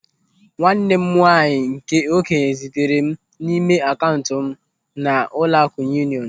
Nwanne m nwaanyị nke okenye zitere n'ime akaụntụ m na Ụlọaku Yunionu.